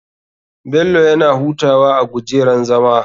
Bello yana hutawa a gujerar zama.